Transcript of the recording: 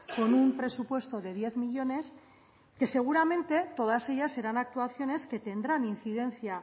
con un presupuesto de diez millónes que seguramente todas ellas serán actuaciones que tendrán incidencia